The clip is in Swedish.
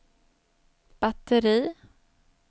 batteri